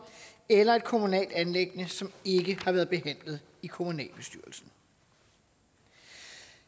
eller et kommunalt anliggende som ikke har været behandlet i kommunalbestyrelsen